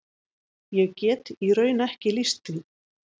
Ég get í raun ekki lýst því.